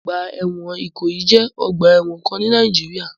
Ọgbà ẹ̀wọ̀n Ìkòyí jẹ́ ọ̀gba ẹ̀wọ̀n kan ni Nìàjíríà.